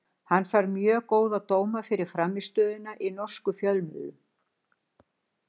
Hann fær mjög góða dóma fyrir frammistöðuna í norskum fjölmiðlum.